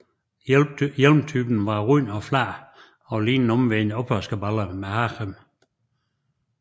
Hjelmtypen var rund og flad og lignede en omvendt opvaskebalje med hagerem